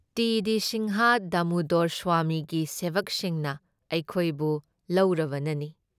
T D Sinha Damodar Swami ꯒꯤ ꯁꯦꯕꯛꯁꯤꯡꯅ ꯑꯩꯈꯣꯏꯕꯨ ꯂꯧꯔꯕꯅꯅꯤ ꯫